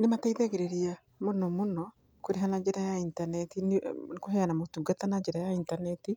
Nĩmateithagĩrĩria mũno mũno kũrĩha na njĩra ya intaneti kũheana motungata na njĩra ya intaneti,